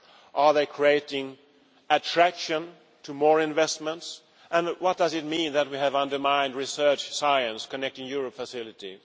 Is it creating attraction to more investments, and at what does it mean that we have undermined research science and the Connecting Europe Facility?